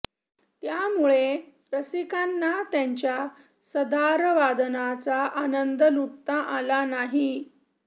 त्यामुळे रसिकांना त्यांच्या सदारवादनाचा आनंद लूटता आला नाही